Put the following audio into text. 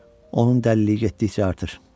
Onun dəliliyi getdikcə artır.